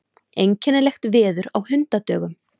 Einkennilegt veður á hundadögum.